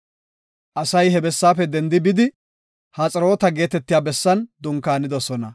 Asay he bessaafe dendi bidi Haxeroota geetetiya bessan dunkaanidosona.